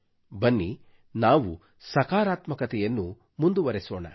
ಬನ್ನಿ ನಾವು ಸಕಾರಾತ್ಮಕತೆಯನ್ನು ಮುಂದುವರೆಸೋಣ